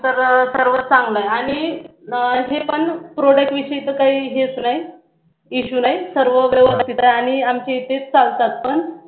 तर सर्व चांगल आहे आणि हे पण product विषयीच काही हेच नाही issue नाही आणि आमच्या इथे चालतात पण